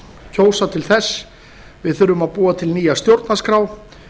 kjósa til þess við þurfum að búa til nýja stjórnarskrá